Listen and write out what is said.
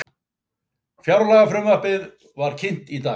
Fjárlagafrumvarpið var kynnt í dag